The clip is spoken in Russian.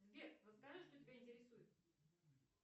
сбер расскажи что тебя интересует